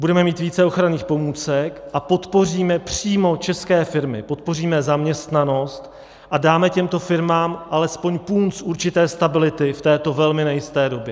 Budeme mít více ochranných pomůcek a podpoříme přímo české firmy, podpoříme zaměstnanost a dáme těmto firmám alespoň punc určité stability v této velmi nejisté době.